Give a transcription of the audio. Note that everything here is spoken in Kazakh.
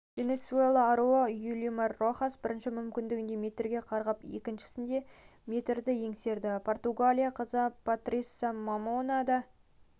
венесуэла аруы юлимар рохас бірінші мүмкіндігінде метрге қарғып екіншісінде метрді еңсерді португалия қызы пастрисиа мамона да